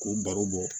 K'o baro bɔ